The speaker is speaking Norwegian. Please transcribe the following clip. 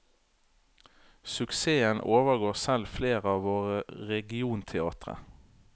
Suksessen overgår selv flere av våre regionteatre.